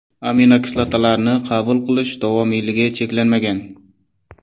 Aminokislotalarni qabul qilish davomiyligi cheklanmagan.